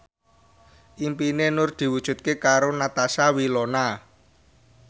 impine Nur diwujudke karo Natasha Wilona